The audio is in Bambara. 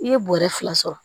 I ye bɔrɛ fila sɔrɔ